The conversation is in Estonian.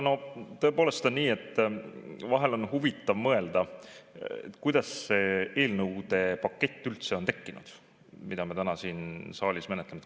Tõepoolest on nii, et vahel on huvitav mõelda, kuidas see eelnõude pakett, mida me täna siin saalis menetlenud oleme, üldse on tekkinud.